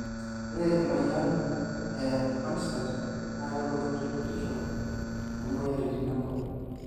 ore emoyian ee onset na kelotu te kitisho too moyiaritin enkop